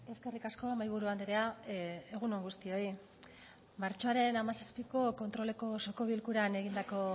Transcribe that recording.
eskerrik asko mahaiburu andrea egun on guztioi martxoaren hamazazpiko kontroleko osoko bilkuran egindako